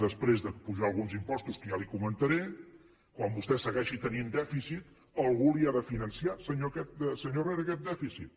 després d’apujar alguns impostos que ja li ho comentaré quan vostè segueixi tenint dèficit algú li ha de finançar senyor herrera aquest dèficit